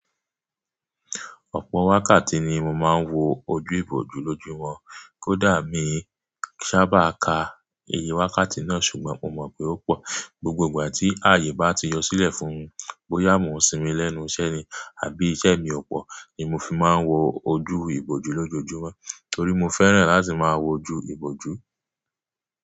Ọ̀pọ̀ wákàtí ni mo máa ń wo ojú ìbòjú lójú wọn. Kódà èmi sá bà ka iye wákàtí náà ṣùgbọ́n mo mọ̀ pé ó pọ̀. Gbogbo ìgbà tí ààyè bá ti yọ sílẹ̀ fún un, bóyá mo sinmi lẹ́nu iṣẹ́ ni àbí iṣẹ́ mi ò pọ̀ ni mo fi máa ń wo ojú ìbòjú lójú wọn torí mo fẹ́ràn láti máa wo ju ìbòjú.